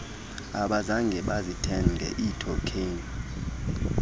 abazange bazithenge iithokheni